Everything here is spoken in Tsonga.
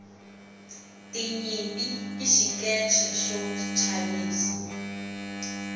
tinyimpi i xikeche xo chavisa